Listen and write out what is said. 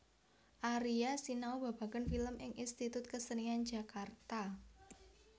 Aria sinau babagan film ing Institut Kesenian Jakarta